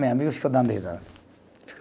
Minha amiga ficou dando risada.